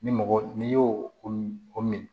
Ni mɔgɔ n'i y'o o min o min